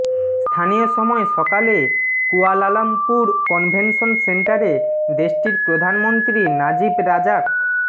স্থানীয় সময় সকালে কুয়ালালামপুর কনভেনশন সেন্টারে দেশটির প্রধানমন্ত্রী নাজিব রাজাক